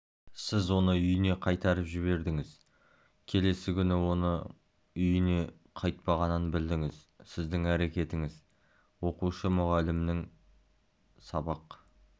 сіз оны үйіне қайтарып жібердіңіз келесі күні оның үйіне қайтпағанын білдіңіз сіздің әрекетіңіз оқушы мұғалімінің сабақ